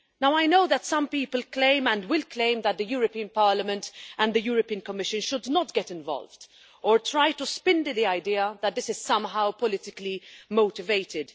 I know some people claim and will claim that the European Parliament and the Commission should not get involved, or try to spin the idea that this is somehow politically motivated.